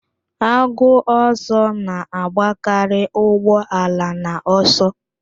Agụ ọsọ na-agbakarị ụgbọ ala n'ọsọ